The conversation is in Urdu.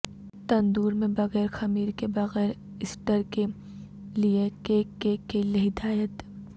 تندور میں بغیر خمیر کے بغیر ایسٹر کے لئے کیک کیک کے لئے ہدایت